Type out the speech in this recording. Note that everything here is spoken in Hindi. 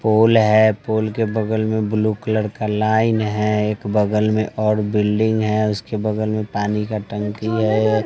फूल है फूल के बगल में ब्लू कलर का लाइन है एक बगल में और बिल्डिंग है उसके बगल में पानी का टंकी है।